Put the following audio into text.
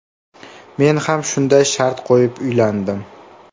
Men ham shunday shart qo‘yib uylandim.